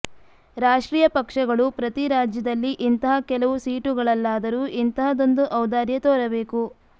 ರಾಷ್ಟ್ರೀಯ ಪಕ್ಷಗಳು ಪ್ರತೀ ರಾಜ್ಯದಲ್ಲಿ ಇಂತಹ ಕೆಲವು ಸೀಟುಗಳಲ್ಲಾದರೂ ಇಂತಹದೊಂದು ಔದಾರ್ಯ ತೋರಬೇಕು